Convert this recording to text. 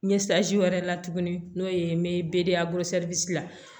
wɛrɛ la tuguni n'o ye n bɛ la